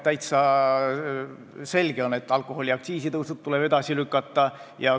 Täiesti selge on, et alkoholiaktsiisi tõstmine tuleb edasi lükata.